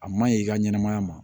A maɲi i ka ɲɛnɛmaya ma